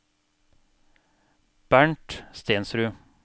Bernt Stensrud